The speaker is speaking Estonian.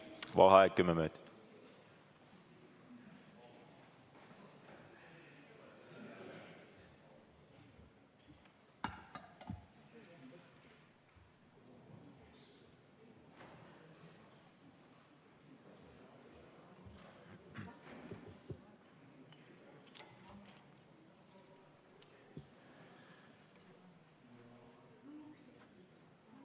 Vaheaeg kümme minutit.